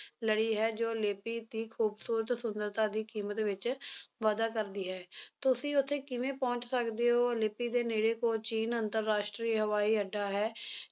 ਲੜੀ ਹੈ ਜੋ ਲੇਪੀ ਦੀ ਖੂਬਸੂਰਤ ਸੁੰਦਰਤਾ ਦੀ ਕੀਮਤ ਵਿੱਚ ਵਾਧਾ ਕਰਦੀ ਹੈ, ਤੁਸੀ ਉੱਥੇ ਕਿਵੇਂ ਪਹੁੰਚ ਸਕਦੇ ਹੋ ਲੇਪੀ ਦੇ ਨੇੜੇ ਕੋਚੀਨ ਅੰਤਰਰਾਸ਼ਟਰੀ ਹਵਾਈ ਅੱਡਾ ਹੈ